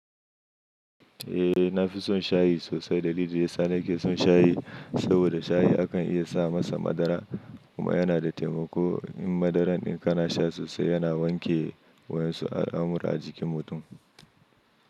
Eh, na fi son shayi sosai. Dalili ya sa na ke son shayi, saboda shayi akan iya sa masa madara kuma yana da taimako. In madaran in kana sha sosai yana wanke wayan su al'amura a jikin mutum.